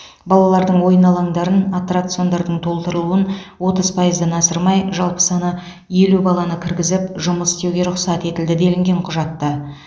балалардың ойын алаңдарын аттракциондардың толтырылуын отыз пайыздан асырмай жалпы саны елу баланы кіргізіп жұмыс істеуге рұқсат етілді делінген құжатта